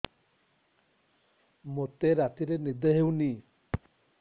ମୋତେ ରାତିରେ ନିଦ ହେଉନି